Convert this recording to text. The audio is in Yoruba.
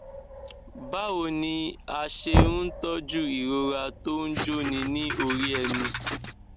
báwo ni a ṣe ń tọjú ìrora tó ń jóni ní orí ẹnu